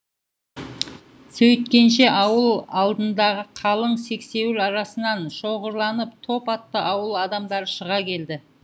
сөйткенше ауыл алдындағы қалың сексеуіл арасынан шоғырланып топ атты ауыл адамдары шыға келді